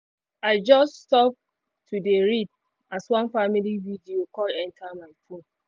i just stop to dey read as one family video call enter my phone